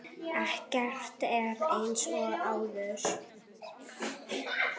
Ekkert er eins og áður.